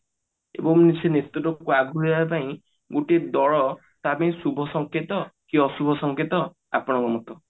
ଏବଂ ସେ ନେତୃତ୍ବକୁ ଆଗକୁ ନେବା ପାଇଁ ଗୋଟିଏ ଦଳ ତା ପାଇଁ ଶୁଭ ସଂକେତ କି ଅଶୁଭ ସଂକେତ ଆପଣଙ୍କ ମତ